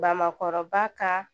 Bamakɔrɔba ka